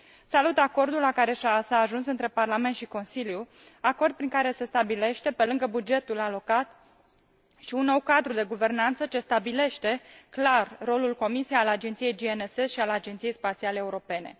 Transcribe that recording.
Salut acordul la care s a ajuns între Parlament și Consiliu, acord prin care se stabilește, pe lângă bugetul alocat, și un nou cadru de guvernanță ce stabilește clar rolul Comisiei, al Agenției GNSS și al Agenției Spațiale Europene.